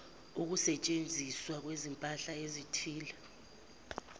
ukusetshenziswa kwezimpahla ezithile